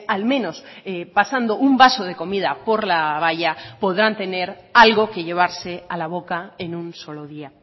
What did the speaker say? al menos pasando un vaso de comida por la valla podrán tener algo que llevarse a la boca en un solo día